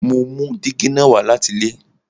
Mo mú dígí na wá láti ilé